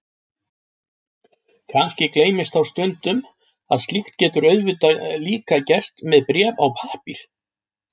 Kannski gleymist þá stundum að slíkt getur auðvitað líka gerst með bréf á pappír.